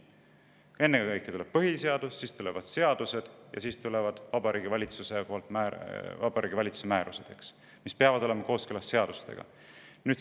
" Ennekõike tuleb põhiseadus, siis tulevad seadused ja siis tulevad Vabariigi Valitsuse määrused, mis peavad olema kooskõlas seadustega.